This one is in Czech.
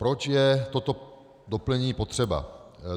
Proč je toto doplnění potřeba?